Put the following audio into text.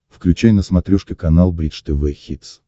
включай на смотрешке канал бридж тв хитс